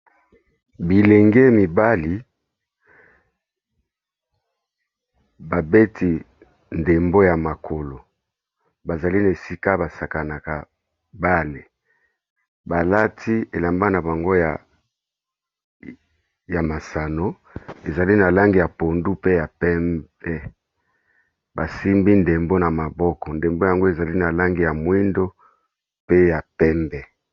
Bilenge mibali babeti ndembo ya makolo ba zali na esika ba sakanaka bale, ba lati elamba na bango ya masano ezali na langi ya pondu pe ya pembe, ba simbi ndembo na maboko , ndembo yango ezali na langi ya moyindo pe ya pembe .